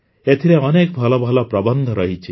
ଏଥିରେ ଅନେକ ଭଲ ଭଲ ପ୍ରବନ୍ଧ ରହିଛି